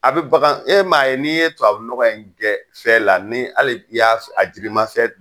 A bi bagan ,e ma ye ni ye tubabu nɔgɔ in kɛ fɛ la ni hali ni y'a jiri ma fɛ